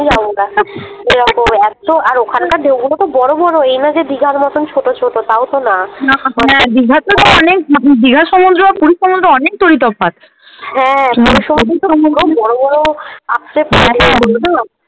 একতো আর ওখানকার ঢেউগুলো তো বড়ো বড়ো এই না যে দীঘার মতন ছোটো ছোটো তাওতো না হ্যাঁ দীঘার তো তাও অনেক দীঘার সমুদ্র আর পুরীর সমুদ্র অনেক তফাৎ হ্যাঁ পুরীর সমুদ্রে তো বড়ো বড়ো ।